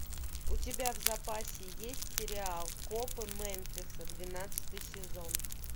у тебя в запасе есть сериал копы мемфиса двенадцатый сезон